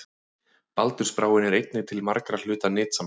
Baldursbráin er einnig til margra hluta nytsamleg.